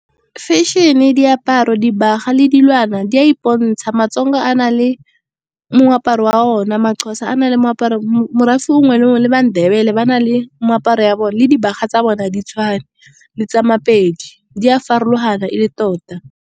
Fashion-e, diaparo, dibaga le dilwana di a ipontsha. Ma-Tsonga a na le moaparo wa ona, ma-Xhosa a na le moaparo morafe mongwe le mongwe. Le ma-Ndebele ba na le moaparo ya bone, le dibaga tsa bona ga di tshwane le tsa ma-Pedi di a farologana e le tota.